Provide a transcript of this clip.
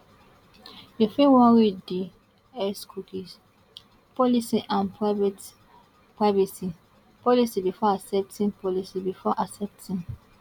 you fit wan read di x cookies policy and private privacy policy before accepting policy before accepting